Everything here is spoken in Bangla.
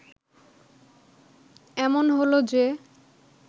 এমন হল যে